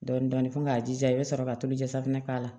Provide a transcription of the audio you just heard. Dɔɔnin dɔɔnin fo k'a jija i bɛ sɔrɔ ka tulu jɛ safunɛ k'a la